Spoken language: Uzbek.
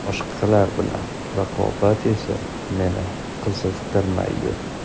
Boshqalar bilan raqobat esa meni qiziqtirmaydi.